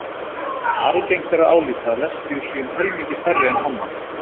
algengt er að álíta að lesbíur séu um helmingi færri en hommar